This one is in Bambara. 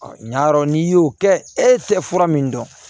ɲa yɔrɔ n'i y'o kɛ e tɛ fura min dɔn